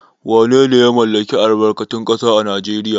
Wanene ya mallaki albarkatun ƙasa a Najeriya?